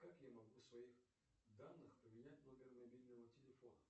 как я могу в своих данных поменять номер мобильного телефона